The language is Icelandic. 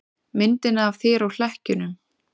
Myndina af þér og hlekkjunum.